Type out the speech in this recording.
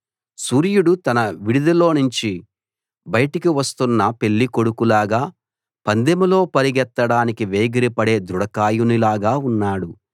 సూర్యుడు తన విడిదిలోనుంచి బయటకు వస్తున్న పెళ్లి కొడుకులాగా పందెంలో పరిగెత్తడానికి వేగిరపడే దృఢకాయునిలాగా ఉన్నాడు